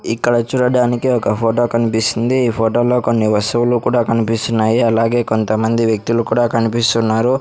ఇక్కడ చూడడానికి ఒక ఫోటో కన్పిస్తుంది ఈ ఫోటోలో కొన్ని వస్తువులు కూడా కనిపిస్తున్నాయి అలాగే కొంతమంది వ్యక్తులు కూడా కనిపిస్తున్నారు.